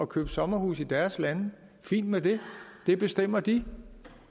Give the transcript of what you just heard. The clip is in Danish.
købe sommerhuse i deres lande fint med det det bestemmer de